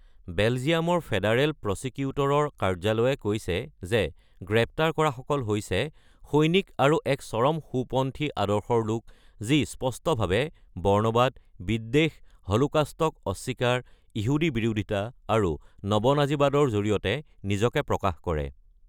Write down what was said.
বেলজিয়ামৰ federal প্ৰচিকিউটৰৰ কাৰ্যালয়ে কৈছে যে গ্ৰেপ্তাৰ কৰা সকল হৈছে "সৈনিক আৰু এক চৰম-সোঁ পন্থী আদৰ্শৰ লোক যি স্পষ্টভাৱে বৰ্ণবাদ, বিদ্বেষ, হলোকাষ্টক অস্বীকাৰ, ইহুদী বিৰোধীতা আৰু নৱ-নাজীবাদৰ জৰিয়তে নিজকে প্ৰকাশ কৰে"।